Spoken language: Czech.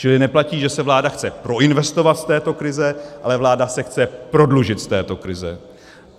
Čili neplatí, že se vláda chce proinvestovat z této krize, ale vláda se chce prodlužit z této krize.